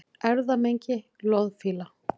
Erfðamengi loðfíla